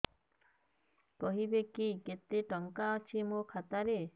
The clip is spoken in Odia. କହିବେକି କେତେ ଟଙ୍କା ଅଛି ମୋ ଖାତା ରେ